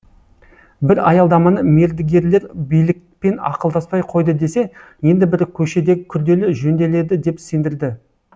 бір аялдаманы мердігерлер билікпен ақылдаспай қойды десе енді бірі көшедегі күрделі жөнделеді деп сендірді